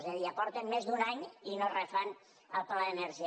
és a dir ja porten més d’un any i no refan el pla d’energia